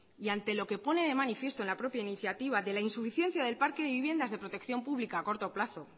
y ante lo que pone de manifiesto en al propia iniciativa de la insuficiencia del parque de viviendas de protección pública a corto plazo